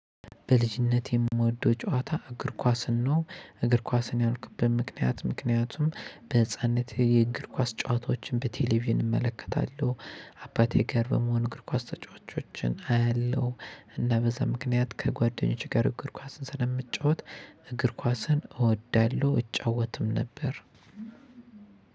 በልጅነቴ የምወደው ጨዋታ እግር ኳስን ነው እግር ኳስን ያልኩበት ምክንያት ምክንያቱም በህፃንነቴ የእግር ኳስ ጨዋታዎችን በቴሌቪዥን እመለከታለሁ አባቴ ጋር በመሆን እግር ኳስ ተጫዋቾችን አያለሁ እና በዛ ምክንያት ከጓደኞች ጋር እግር ኳስን ስለምጫወት እግር ኳስን እወዳለሁ። እጫወትም ነበር።